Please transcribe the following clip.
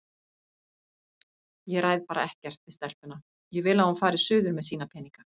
Ég ræð bara ekkert við stelpuna, ég vil að hún fari suður með sína peninga